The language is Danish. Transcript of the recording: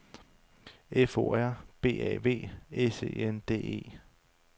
F O R B A V S E N D E